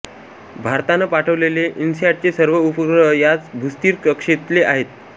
भारतानं पाठवलेले इन्सॅटचे सर्व उपग्रह याच भूस्थिर कक्षेतले आहेत